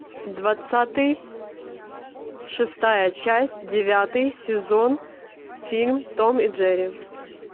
двадцатый шестая часть девятый сезон фильм том и джерри